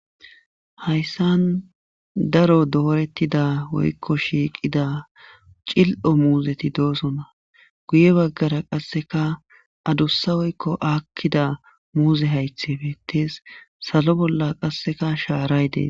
Hayssan daro doorettida woykko shiiqida cil7o muuzeti doosona guye baggara qasseka adussa woykko aakkida muuze haythepetees salo bolla qasseka shaaray dee.